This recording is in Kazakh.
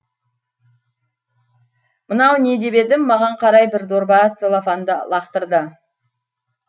мынау не деп едім маған қарай бір дорба целлофанды лақтырды